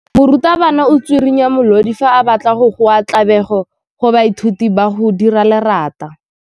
Morutwabana o tswirinya molodi fa a batla go goa tlabego go baithuti ba go dira lerata.